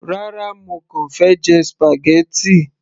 rárá, mo kàn fẹ́ jẹ spaghetti